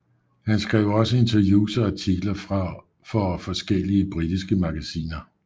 Han skrev også interviews og artikler for forskellige britiske magasiner